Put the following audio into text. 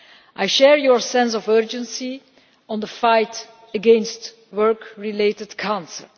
I share your sense of urgency on the fight against work related cancer.